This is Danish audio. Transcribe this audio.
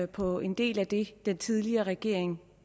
på en del af det den tidligere regering